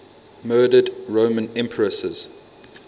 murdered roman empresses